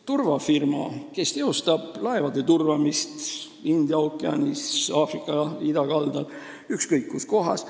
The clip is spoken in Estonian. Turvafirma, kes teostab laevade turvamist India ookeanis, Aafrika idakaldal, ükskõik kus kohas.